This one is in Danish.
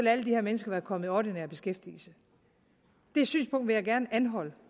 alle de her mennesker være kommet i ordinær beskæftigelse det synspunkt vil jeg gerne anholde